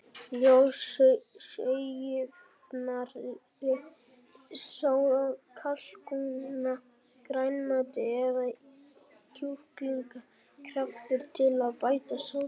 Ljós sósujafnari, soð af kalkúna, grænmeti eða kjúklingakraftur til að bæta sósuna.